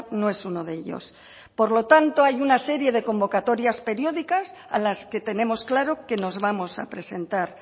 no es uno de ellos por lo tanto hay una serie de convocatorias periódicas a las que tenemos claro que nos vamos a presentar